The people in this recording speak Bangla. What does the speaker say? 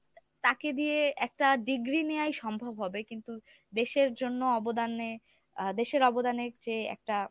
তাকে দিয়ে একটা degree নেওয়াই সম্ভব হবে কিন্তু দেশের জন্য অবদানে আ দেশের অবদানের চেয়ে একটা